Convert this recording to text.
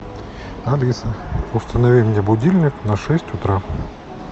алиса установи мне будильник на шесть утра